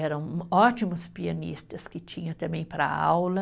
Eram ótimos pianistas que tinha também para aula.